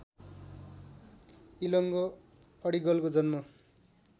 इलंगो अडिगलको जन्म